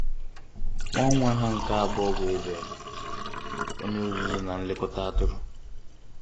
nwa nwa ha nke abụọ bụ Abel, onye ọzụzụ na nlekọta atụrụ.